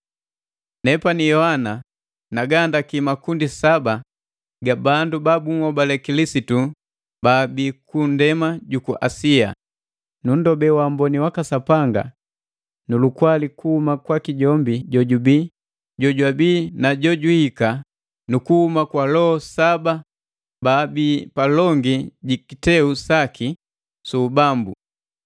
Nepani Yohana nagahandaki makundi saba ga bandu baanhobale Kilisitu baabii ku ndema juku Asia. Nunndobe waamboni waka Sapanga nu lukwali kuhuma kwaki jombi jojubi, jojwabi na jojuhika nu kuhuma kwa loho saba baabi palongi jikiteu saki su ubambu,